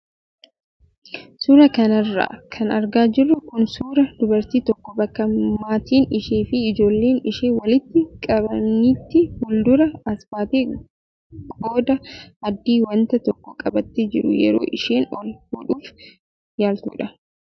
Suuraa kanarra kan argaa jirru kun suuraa dubartii tokko bakka maatiin ishee fi ijoolleen ishee walitti qabamanitti fuuldura as baatee qodaa adii wanta tokko qabatee jiru yeroo isheen ol fuudhuuf yaaltudha.